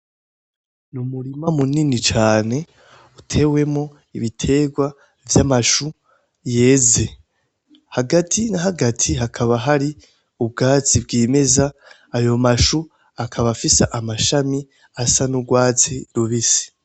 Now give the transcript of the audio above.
Ni umurima munini cane utewemwo ibiterwa vyamashu yeze, hagati na hagati hakaba hari ubwatsi bwimeza, ayo mashu akaba afise amashami asa n' urwatsi rubisi.